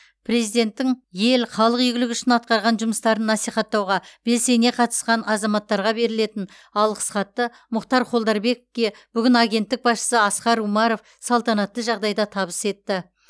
президенттің ел халық игілігі үшін атқарған жұмыстарын насихаттауға белсене қатысқан азаматтарға берілетін алғыс хатты мұхтар холдарбековке бүгін агенттік басшысы асқар умаров салтанатты жағдайда табыс етті